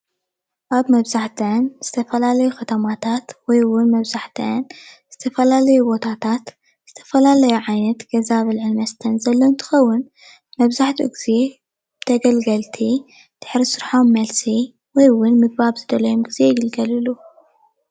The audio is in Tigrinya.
ኣብ መብዛሕትኣን ዝተፈላለዩ ከተማታት ወይ እውን መብዛሕትአን ዝተፈላለዩ ቦታታት ዝተፈላለዩ ዓይነት ገዛ ኣብ ልዕሊ መስተን እንትከውን መብዛሕትኡ ግዜ ተገልገልቲ ድሕሪ ስርሖም መልሲ ወይ ኣብ ዝደለይዎ ግዜ ይግልገልሉ።